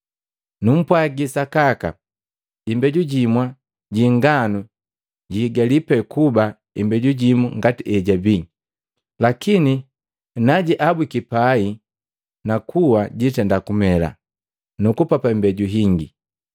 Numpwagi sakaka, imbeju jimu ji inganu jiigali pee kuba imbeju jimu ngati ejabii, lakini na jiabwiki pai nakuwa jitenda kumela, nukupapa imbeju hingi.